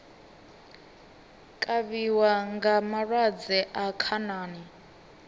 kavhiwa nga malwadze a khanani